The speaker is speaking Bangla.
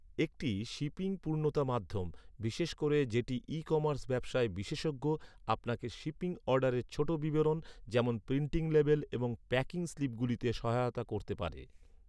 একটি শিপিং পূর্ণতা মাধ্যম, বিশেষ করে যেটি ই কমার্স ব্যবসায় বিশেষজ্ঞ, আপনাকে শিপিং অর্ডারের ছোট বিবরণ, যেমন প্রিন্টিং লেবেল এবং প্যাকিং স্লিপগুলিতে সহায়তা করতে পারে৷